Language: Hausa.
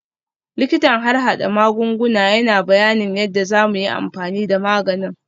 Likitan harhada magunguna yana bayanin yadda za mu yi amfani da maganin